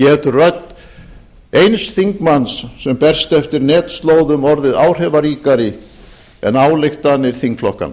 rödd eins þingmanns sem berst eftir netslóðum orðið áhrifaríkari en ályktanir þingflokkanna